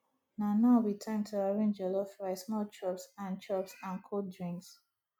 na now be time to arrange jollof rice small chops and chops and cold drinks